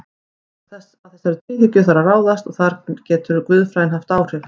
Að þessari tvíhyggju þarf að ráðast og þar getur guðfræðin haft áhrif.